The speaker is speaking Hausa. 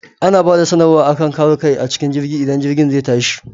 Ana bada sanar wa akan kare kai acikin jirgi idan jirgin zai tashi